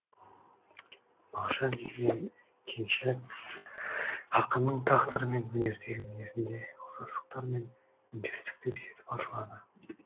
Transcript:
мағжан мен кеңшілік ақынның тағдыры мен өнердегі мінезінде ұқсастықтар мен үндестіктер жетіп артылады